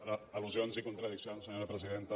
per al·lusions i contradiccions senyora presidenta